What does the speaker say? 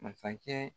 Masakɛ